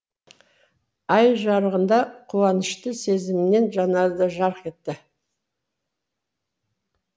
ай жарығында қуанышты сезімнен жанары да жарқ етті